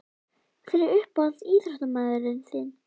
Þessir hópar geta verið nauðsynlegir fyrir rétta starfsemi prótíns.